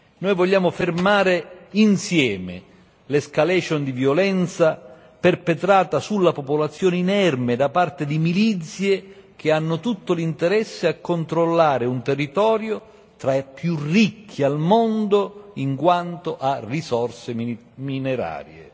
Noi vogliamo fermare insieme l'escalation di violenza perpetrata sulla popolazione inerme da parte di milizie che hanno tutto l'interesse a controllare un territorio tra i più ricchi al mondo in quanto a risorse minerarie.